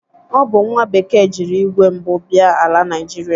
Ọ bụ nwa bekee jiri igwe mbụ bia ala Naịjịrịa.